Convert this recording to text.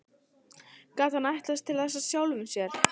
Gat hann ætlast til þess af sjálfum sér?